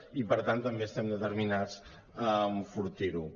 i per tant també estem determinats a enfortir lo